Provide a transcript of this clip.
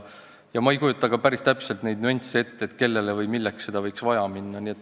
Ma ei kujuta päris täpselt neid nüansse ette, kellele või milleks seda võiks vaja minna.